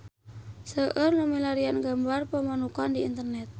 Seueur nu milarian gambar Pamanukan di internet